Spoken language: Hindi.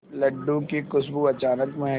लड्डू की खुशबू अचानक महके